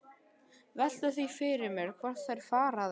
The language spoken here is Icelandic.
Velti því fyrir mér hvort þær fari að einsog ég.